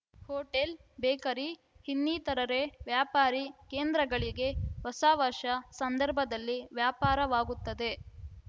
hotel bakery ಇನ್ನಿತರರೆ ವ್ಯಾಪಾರಿ ಕೇಂದ್ರಗಳಿಗೆ ಹೊಸ ವರ್ಷ ಸಂದರ್ಭದಲ್ಲಿ ವ್ಯಾಪಾರವಾಗುತ್ತದೆ